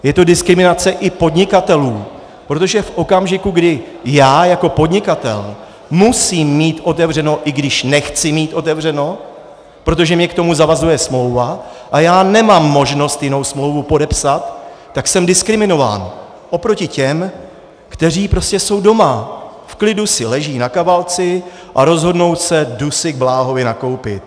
Je to diskriminace i podnikatelů, protože v okamžiku, kdy já jako podnikatel musím mít otevřeno, i když nechci mít otevřeno, protože mě k tomu zavazuje smlouva a já nemám možnost jinou smlouvu podepsat, tak jsem diskriminován oproti těm, kteří jsou prostě doma, v klidu si leží na kavalci a rozhodnou se: jdu si k Bláhovi nakoupit.